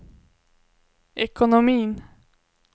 ekonomin